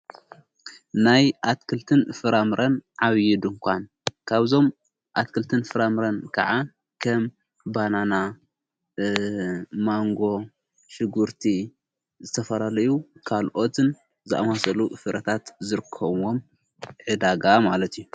ናይ ኣትክልትን ፍራምረን ዓብዪ ድንኳን ካብዞም ኣትክልትን ፍራምረን ከዓ ከም ባናና ማንጎ ሽጉርቲ ዝተፈራለዩ ካልኦትን ዝማሰሉ ፍረታት ዝርከምዎም ዕዳጋ ማለት እዩ